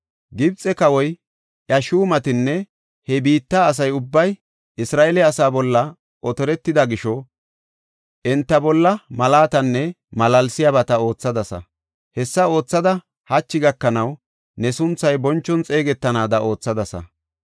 Gibxe kawoy, iya shuumatinne he biitta asa ubbay Isra7eele asaa bolla otortida gisho enta bolla mallatanne malaalsiyabata oothadasa. Hessa oothada hachi gakanaw ne sunthay bonchon xeegetanaada oothadasa.